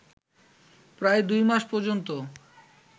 প্রায় দুই মাস পর্যন্ত